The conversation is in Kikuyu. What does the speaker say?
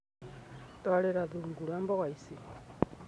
Twarira thungura mboga ici.